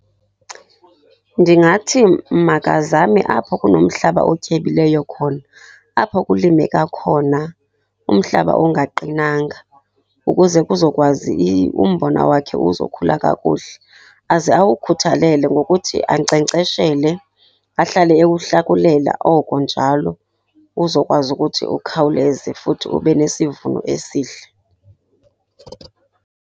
Ndingathi makazame apho kunomhlaba otyebileyo khona, apho kulimeka khona kumhlaba ongaqinanga ukuze kuzokwazi umbona wakhe uzokhula kakuhle. Aze awukhuthalele ngokuthi ankcenkceshele, ahlale ewuhlakulela oko njalo, uzokwazi ukuthi ukhawuleze futhi ube nesivuno esihle.